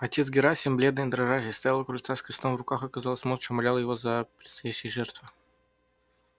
отец герасим бледный и дрожащий стоял у крыльца с крестом в руках и казалось молча умолял его за предстоящие жертвы